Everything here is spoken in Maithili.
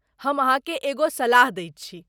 हम अहाँके एगो सलाह दैत छी।